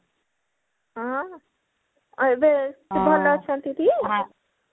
ହଁ ଆଉ ଏବେ ସେ ଭଲ ଅଛନ୍ତି ଟି